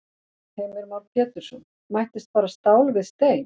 Heimir Már Pétursson: Mættist bara stál við stein?